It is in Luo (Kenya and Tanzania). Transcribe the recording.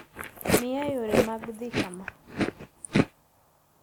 miya yore mag dhi kama